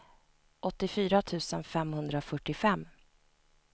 åttiofyra tusen femhundrafyrtiofem